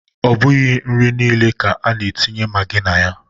Ọ bụghị nri niile ka a na-etinye magi na ya.